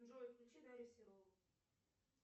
джой включи дарью серову